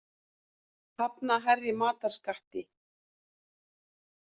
Hafna hærri matarskatti